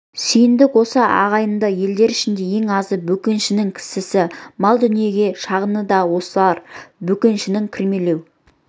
сүйіндік осы ағайынды елдер ішінде ең азы бөкеншінің кісісі мал дүниеге шағыны да осылар бөкеншінің кірмелеу